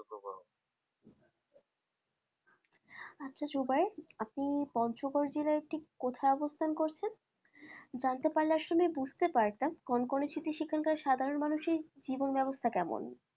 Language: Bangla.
আচ্ছা জুবাই আপনি পঞ্চগড় জেলার ঠিক কোথায় অবস্থান করেছন? জানতে পারলে আসলে বুঝতে পারতাম কনকনে শীতে সেখানকার সাধারণ মানুষের জীবন ব্যবস্থা কেমন?